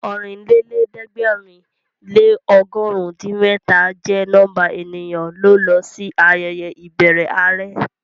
Ọ̀rìnlẹ́lẹ̀ẹ́dẹ̀gbẹ̀rin lé ọgọ̀run din mẹ́ta jẹ́ nọ́mbà ènìyàn ló lọ sí ayẹyẹ ìbẹrẹ are